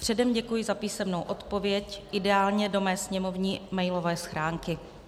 Předem děkuji za písemnou odpověď, ideálně do mé sněmovní mailové schránky.